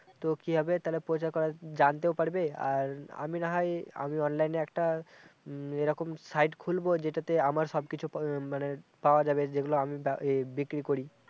তো কি হবে তালে প্রচার করা জানতেও পারবে আর আমি না হয় আমি online এ একটা উম এইরকম site খুলবো যেটা তে আমার সব কিছু মানে পাওয়া যাবে যেগুলো আমি এ বিক্রি করি